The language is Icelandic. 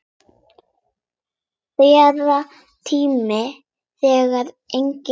Þerrar tár þegar engin eru.